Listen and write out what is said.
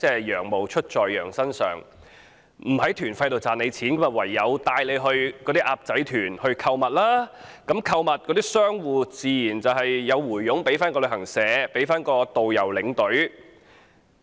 "羊毛出自羊身上"，不在團費賺錢，唯有帶"鴨仔團"購物，商戶自然有佣金回贈旅行社、導遊、領隊。